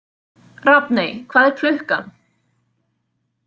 Rafney, hvað er klukkan?